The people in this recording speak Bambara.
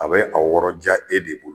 A bɛ a wɔrɔ diya e de bol